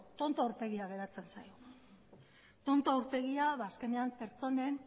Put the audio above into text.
tonto aurpegia geratzen zaigu tonto aurpegia ba azkenean pertsonen